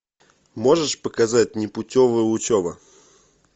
можешь показать непутевая учеба